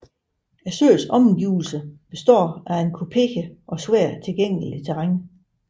Søens omgivelser består af et kuperet og svært tilgængeligt terræn